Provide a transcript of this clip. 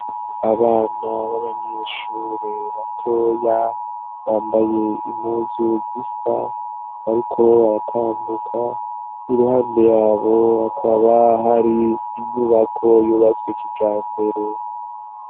Abana b'abanyishure batoya bambaye imuzu zisa, ariko baratambuka i ruhande yabo hakaba hari inyubako yubatswe kija mbere.